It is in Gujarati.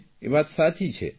એ વાત સાચી છે